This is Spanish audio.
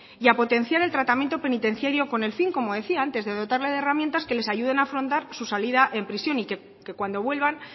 y a potenciar el tratamiento penitenciario con el fin como decía antes de dotarle de herramientas que les ayude a afrontar su salida de prisión y que cuando vuelvan